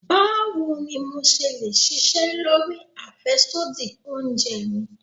Báwo ni mo le ṣe ṣisẹ́ lórí àfẹ́sódì oúnjẹ mi?